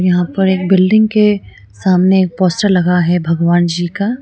यहां पर एक बिल्डिंग के सामने एक पोस्टर लगा है भगवान जी का।